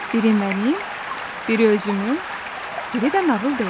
Biri mənim, biri özümün, biri də nağıl deyənin.